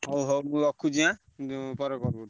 ହଉ ହଉ ମୁଁ ରଖୁଚି ଆଁ ମୁଁ ପରେ call କରିବି ଆଁ?